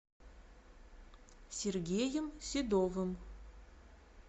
сергеем седовым